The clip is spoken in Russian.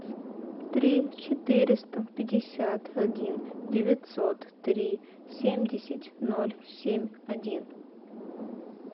три четыреста пятьдесят один девятьсот три семьдесят ноль семь один